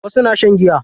Wasu na shan giya.